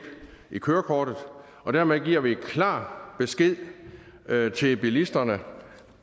i kørekortet og dermed giver vi klar besked til bilisterne